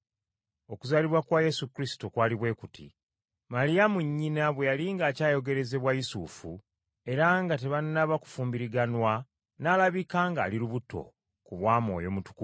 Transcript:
Okuzaalibwa kwa Yesu Kristo kwali bwe kuti: Maliyamu nnyina bwe yali ng’akyayogerezebwa Yusufu, era nga tebanaba kufumbiriganwa n’alabika ng’ali lubuto ku bwa Mwoyo Omutukuvu.